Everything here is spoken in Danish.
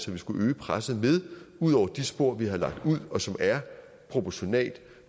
vi skulle øge presset med ud over de spor vi har lagt ud og som er proportionale